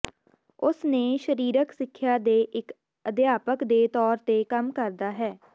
ਉਸ ਨੇ ਸਰੀਰਕ ਸਿੱਖਿਆ ਦੇ ਇੱਕ ਅਧਿਆਪਕ ਦੇ ਤੌਰ ਤੇ ਕੰਮ ਕਰਦਾ ਹੈ